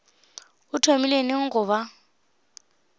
o thomile neng go ba